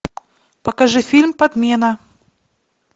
покажи фильм подмена